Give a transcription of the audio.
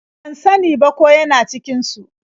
Ban sa ni ba ko ya na cikin su.